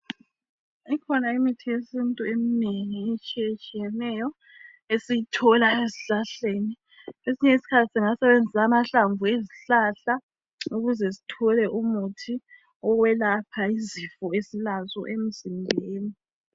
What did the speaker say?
Ikhona imithi yesintu eminengi etshiyetshiyeneyo esiyithola ezihlahleni. Kwesinye isikhathi singasebenzisa amahlamvu ezihlahla ukuze sithole umuthi wokwelapha izifo esilazo emzimbeni.